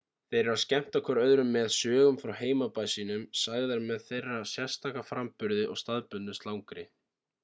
þeir eru að skemmta hver öðrum með sögum frá heimabæ sínum sagðar með þeirra sérstaka framburði og staðbundnu slangri